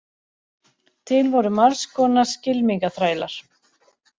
Til voru margs konar skylmingaþrælar.